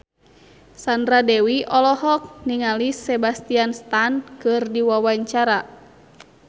Sandra Dewi olohok ningali Sebastian Stan keur diwawancara